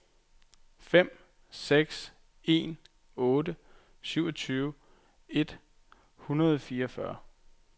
fem seks en otte syvogtyve et hundrede og fireogfyrre